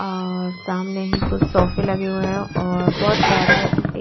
और सामने ही कुछ सोफे लगे हुए हैं और बहुत प्यारा है।